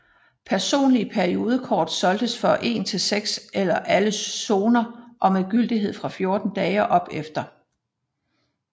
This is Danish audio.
Personlige periodekort solgtes for en til seks eller alle zoner og med gyldighed fra 14 dage og opefter